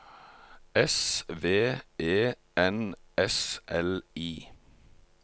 S V E N S L I